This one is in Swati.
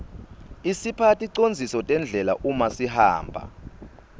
isipha ticondziso tendlela uma sihamba